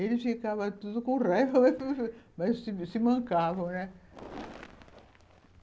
Eles ficavam todos com raiva, mas se mancavam, né?